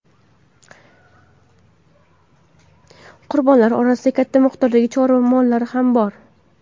Qurbonlar orasida katta miqdordagi chorva mollari ham bor.